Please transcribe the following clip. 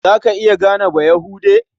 Za ka iya gane Bayahude?